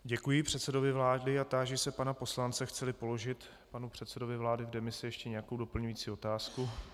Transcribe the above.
Děkuji předsedovi vlády a táži se pana poslance, chce-li položit panu předsedovi vlády v demisi ještě nějakou doplňující otázku.